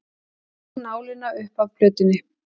Tók nálina upp af plötunni.